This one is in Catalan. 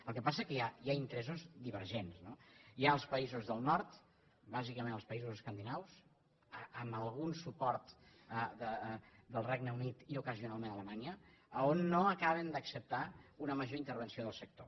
el que passa que hi ha interessos divergents no hi ha els països del nord bàsicament els països escandinaus amb algun suport del regne unit i ocasionalment alemanya on no acaben d’acceptar una major intervenció del sector